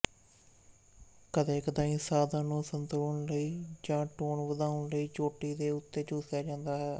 ਕਦੇਕਦਾਈਂ ਸਾਧਨ ਨੂੰ ਸੰਤੁਲਨ ਲਈ ਜਾਂ ਟੋਨ ਵਧਾਉਣ ਲਈ ਚੋਟੀ ਦੇ ਉੱਤੇ ਚੂਸਿਆ ਜਾਂਦਾ ਹੈ